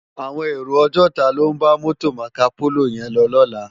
Áwòn éró ògòtá ló n bá mòtó Mákópóló yèn lò lòlá